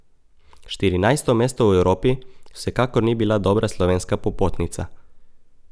Štirinajsto mesto v Evropi vsekakor ni bila dobra slovenska popotnica.